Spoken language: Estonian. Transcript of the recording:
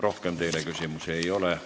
Rohkem teile küsimusi ei ole.